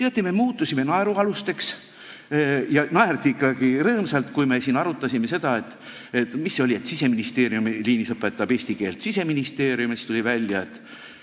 Ja teate, me muutusime naerualuseks, naerdi ikkagi rõõmsalt, kui me siin arutasime seda, et Siseministeeriumi liinis õpetab eesti keelt Siseministeerium ja siis tuli välja, et ...